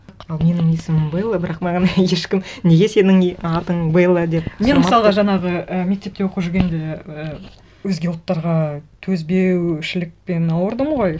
ал менің есімім белла бірақ маған ешкім неге сенің атың белла деп сұрамапты мен мысалға жаңағы і мектепте оқып жүргенде ыыы өзге ұлттарға төзбеушілікпен ауырдым ғой